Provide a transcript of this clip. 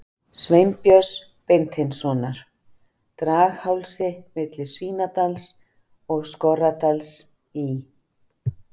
Sveinbjörns Beinteinssonar, Draghálsi milli Svínadals og Skorradals í